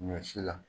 Ɲɔ si la